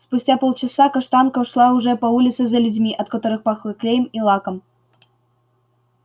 спустя полчаса каштанка шла уже по улице за людьми от которых пахло клеем и лаком